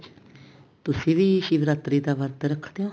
ਤੁਸੀਂ ਵੀ ਸ਼ਿਵਰਾਤਰੀ ਦਾ ਵਰਤ ਰੱਖਦੇ ਹੋ